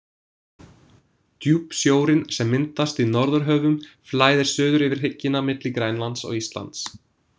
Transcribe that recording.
Djúpsjórinn sem myndast í Norðurhöfum flæðir suður yfir hryggina milli Grænlands og Íslands.